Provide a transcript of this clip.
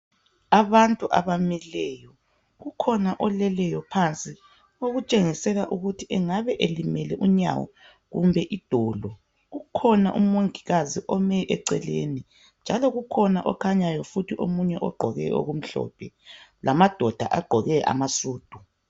Abantu abamileyo, kukhona oleleyo phansi, okutshengisela ukuthi engabe elimele unyawo kumbe idolo. Kukhona umongikazi ome eceleni, njalo kukhona okhanyayo futhi omunye ogqoke okumhlophe, lamadoda agqoke amasudu.